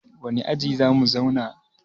wane aji za mu zauna?